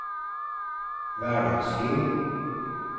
hverdagsliv